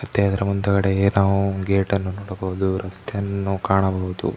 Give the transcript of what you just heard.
ಮತ್ತೆ ಅದರ ಮುಂದುಗಡೆ ನಾವು ಗೇಟ್ ಅನ್ನು ನೋಡಬಹುದು ರಸ್ತೆಯನ್ನು ನಾವು ಕಾಣಬಹುದು .